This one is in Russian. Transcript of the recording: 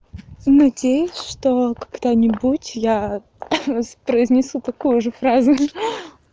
надеюсь что когда-нибудь я произнесу такую же фразу хи-хи